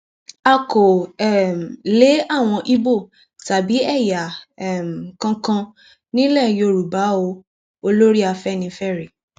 a kò um lé àwọn ibo tàbí ẹyà um kankan nílẹ yorùbá o olórí afẹnifẹre